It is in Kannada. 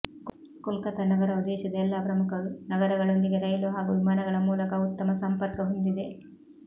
ಕೊಲ್ಕತ್ತಾ ನಗರವು ದೇಶದ ಎಲ್ಲ ಪ್ರಮುಖ ನಗರಗಳೊಂದಿಗೆ ರೈಲು ಹಾಗೂ ವಿಮಾನಗಳ ಮೂಲಕ ಉತ್ತಮ ಸಂಪರ್ಕ ಹೊಂದಿದೆ